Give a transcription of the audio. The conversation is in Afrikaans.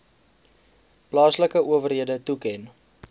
plaaslike owerhede toeken